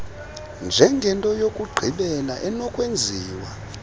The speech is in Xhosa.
njengento yokugqibela enokwenziwa